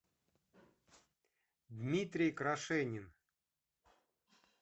дмитрий крашенин